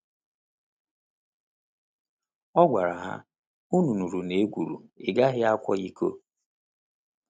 Ọ gwara ha: “Unu nụrụ na e kwuru, ‘Ị gaghị akwa iko.’”